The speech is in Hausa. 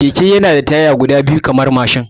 Keke yana da taya guda biyu kamar dai na mashin